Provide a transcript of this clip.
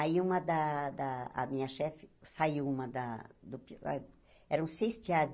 Aí, uma da da... a minha chefe... saiu uma da do... eram seis tear.